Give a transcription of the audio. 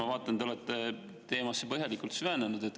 Ma vaatan, te olete teemasse põhjalikult süvenenud.